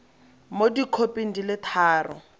mo dikhoping di le tharo